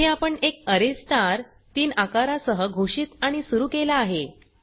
येथे आपण एक अरे स्टार 3 आकारा सह घोषित आणि सुरू केला आहे